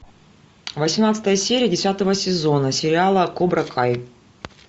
восемнадцатая серия десятого сезона сериала кобра кай